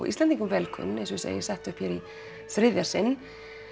Íslendingum vel kunn enda eins og segir sett upp í þriðja sinn